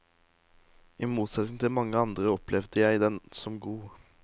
I motsetning til mange andre opplevde jeg den som god.